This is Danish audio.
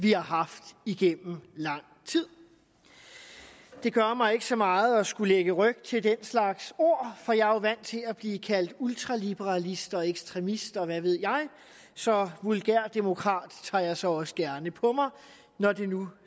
vi har haft igennem lang tid det gør mig ikke så meget at skulle lægge ryg til den slags ord for jeg er jo vant til at blive kaldt ultraliberalist og ekstremist og hvad ved jeg så vulgærdemokrat tager jeg så også gerne på mig når det nu